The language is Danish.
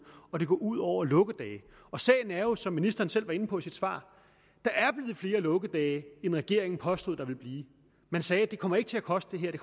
og det går ud over lukkedage sagen er jo som ministeren selv var inde på i sit svar at flere lukkedage end regeringen påstod at der ville blive man sagde det her kommer ikke til at koste det